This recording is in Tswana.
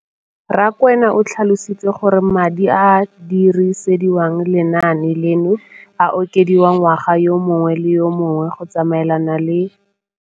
Rakwena o tlhalositse gore madi a a dirisediwang lenaane leno a okediwa ngwaga yo mongwe le yo mongwe go tsamaelana le